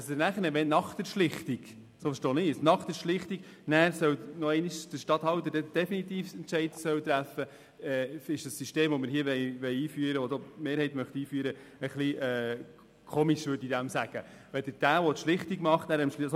Das System, das die Mehrheit einführen will, wonach nach der Schlichtung wiederum der Regierungsstatthalter, der die Schlichtung vorgenommen hat, den definitiven Entscheid treffen soll, finde ich etwas seltsam.